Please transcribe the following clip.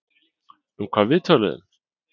Um hvað við töluðum?